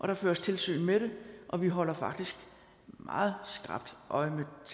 der føres tilsyn med det og vi holder faktisk meget skrapt øje med